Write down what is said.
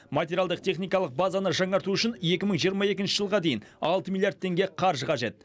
материалдық техникалық базаны жаңарту үшін екі мың жиырма екінші жылға дейін алты миллиард теңге қаржы қажет